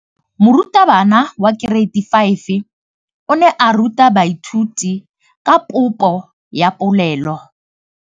Moratabana wa kereiti ya 5 o ne a ruta baithuti ka popô ya polelô.